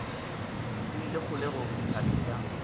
o ile kgolekgole dithabeng tša